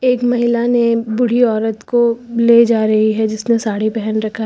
एक महिला ने बूढ़ी औरत को ले जा रही है जिसने साड़ी पहन रखा है।